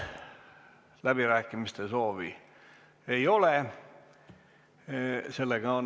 Läbirääkimiste soovi ei ole.